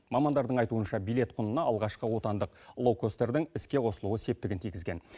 мамандардың айтуынша билет құнына алғашқы отандық лоукостердің іске қосылуы септігін тигізген